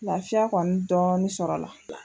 Lafiya kɔni dɔɔni sɔrɔla la.